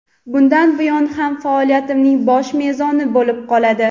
bundan buyon ham faoliyatimning bosh mezoni bo‘lib qoladi.